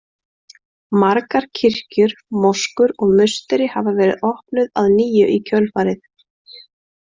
Margar kirkjur, moskur og musteri hafa verið opnuð að nýju í kjölfarið.